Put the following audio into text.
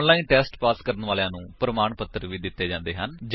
online test pass ਕਰਨ ਵਾਲਿਆਂ ਨੂੰ ਪ੍ਰਮਾਣ ਪੱਤਰ ਵੀ ਦਿੰਦੇ ਹਨ